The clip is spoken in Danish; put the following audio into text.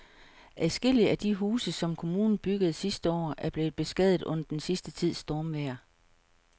Adskillige af de huse, som kommunen byggede sidste år, er blevet beskadiget under den sidste tids stormvejr.